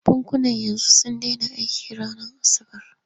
Bankuna yanzu sun dena aiki ranar asabar.